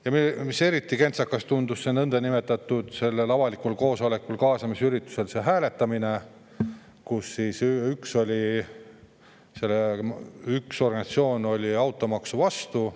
Ja mis eriti kentsakas tundub: sellel nõndanimetatud avalikul koosolekul ehk kaasamisüritusel oli hääletusel vaid üks organisatsioon automaksu vastu.